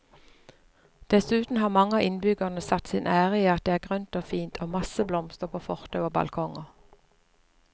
Dessuten har mange av innbyggerne satt sin ære i at det er grønt og fint og masse blomster på fortau og balkonger.